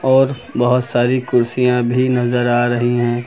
और बहोत सारी कुर्सियां भी नजर आ रही हैं।